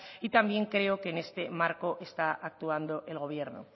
y también creo que en este marco está actuando el gobierno